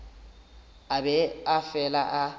a be a fele a